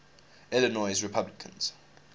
illinois republicans